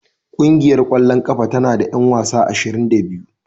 Ƙungiyar ƙwallon ƙafa tana da 'yan wasa ashirin da biyu